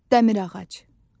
Dəmir ağac.